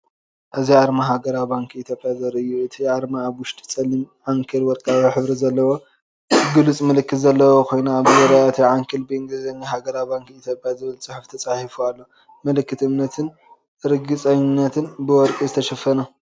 እዚ ኣርማ ሃገራዊ ባንኪ ኢትዮጵያ ዘርኢ እዩ። እቲ ኣርማ ኣብ ውሽጢ ጸሊም ዓንኬል ወርቃዊ ሕብሪ ዘለዎ ግሉጽ ምልክት ዘለዎ ኮይኑ፡ ኣብ ዙርያ እቲ ዓንኬል ብእንግሊዝኛ “ሃገራዊ ባንኪ ኢትዮጵያ” ዝብል ጽሑፍ ተጻሒፉ ኣሎ። ምልክት እምነትን ርግጸኝነትን፡ ብወርቂ ዝተሸፈነ።